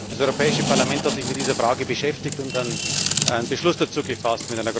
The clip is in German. Das Europäische Parlament hat sich mit dieser Frage beschäftigt und einen Beschluss dazu gefasst.